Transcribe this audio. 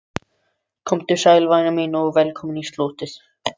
Komdu sæl, væna mín, og velkomin í slotið.